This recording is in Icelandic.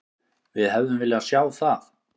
Við hefðum viljað sjá það.